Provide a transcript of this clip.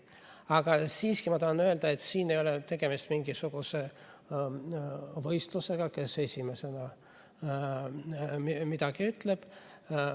Aga siiski ma tahan öelda, et siin ei ole tegemist mingisuguse võistlusega, kes esimesena midagi ütleb.